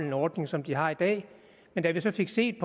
en ordning som de har i dag men da vi så fik set